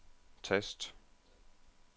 tast